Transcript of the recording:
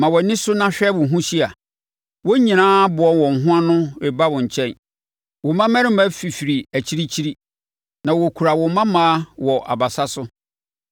“Ma wʼani so na hwɛ wo ho hyia: wɔn nyinaa aboa wɔn ho ano reba wo nkyɛn; wo mmammarima fifiri akyirikyiri, na wɔkura wo mmammaa wɔ abasa so.